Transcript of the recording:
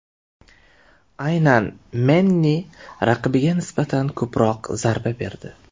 Aynan Menni raqibiga nisbatan ko‘proq zarba berdi.